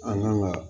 An kan ka